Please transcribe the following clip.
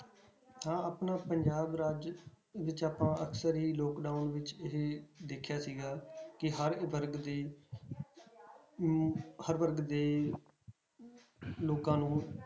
ਹਾਂ ਆਪਣਾ ਪੰਜਾਬ ਰਾਜ ਵਿੱਚ ਆਪਾਂ ਅਕਸਰ ਹੀ lockdown ਵਿੱਚ ਇਹ ਦੇਖਿਆ ਸੀਗਾ ਕਿ ਹਰ ਵਰਗ ਦੇ ਨੂੰ ਹਰ ਵਰਗ ਦੇ ਲੋਕਾਂ ਨੂੰ